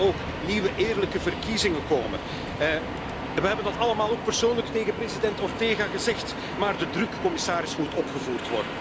Er moeten ook nieuwe eerlijke verkiezingen komen. We hebben dat allemaal ook persoonlijk tegen president Ortega gezegd, maar de druk, commissaris, moet worden opgevoerd.